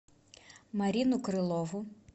марину крылову